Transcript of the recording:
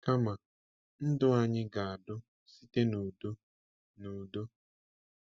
Kama, ndụ anyị ga-adu site n’udo na udo.